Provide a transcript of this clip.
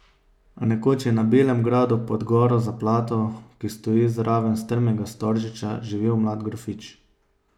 Nekoč je na belem gradu pod goro Zaplato, ki stoji zraven strmega Storžiča, živel mlad grofič.